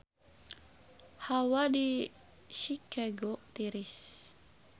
Hawa di Chicago tiris